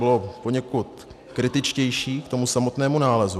Bylo poněkud kritičtější k tomu samotnému nálezu.